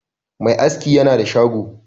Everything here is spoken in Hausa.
Me aski yana da shago